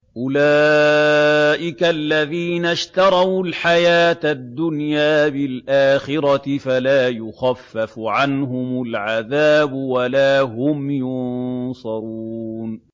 أُولَٰئِكَ الَّذِينَ اشْتَرَوُا الْحَيَاةَ الدُّنْيَا بِالْآخِرَةِ ۖ فَلَا يُخَفَّفُ عَنْهُمُ الْعَذَابُ وَلَا هُمْ يُنصَرُونَ